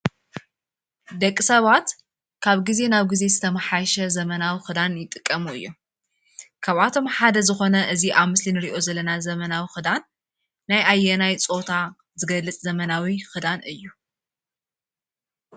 ደቂ ሰባት ካብ ግዜ ናብ ግዜ ዝተመሓየሸ ዘመናዊ ክዳን ይጥቀሙ እዮም፡፡ ካብኣቶም ሓደ ዝኮነ እዚ ኣብ ምስሊ እንሪኦ ዘለና ዘመናዊ ክዳን ናይ ኣየናይ ፆታ ዝገልፅ ዘመናዊ ክዳን እዩ?